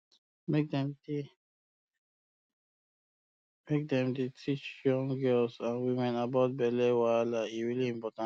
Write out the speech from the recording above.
make dem dey make dem dey teach young girls and women about that belly wahala e really important